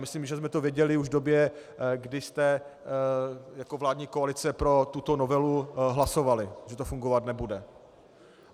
Myslím, že jsme to věděli už v době, kdy jste jako vládní koalice pro tuto novelu hlasovali, že to fungovat nebude.